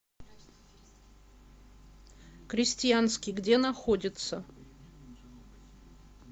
крестьянский где находится